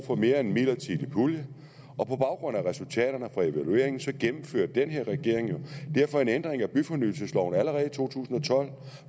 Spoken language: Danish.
for mere end en midlertidig pulje og på baggrund af resultaterne af evalueringen gennemførte den her regering derfor en ændring af byfornyelsesloven allerede i to tusind